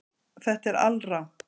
Þetta er alrangt